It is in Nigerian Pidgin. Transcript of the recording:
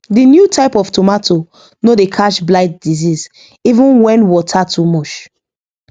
the new type of tomato no dey catch blight disease even when water too much